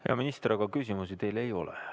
Hea minister, aga küsimusi teile ei ole.